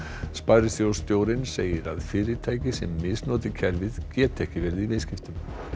sparisjóðsstjórinn segir að fyrirtæki sem misnoti kerfið geti ekki verið í viðskiptum